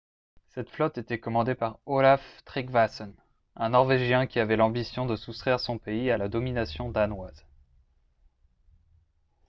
cette flotte était commandée par olaf trygvasson un norvégien qui avait l'ambition de soustraire son pays à la domination danoise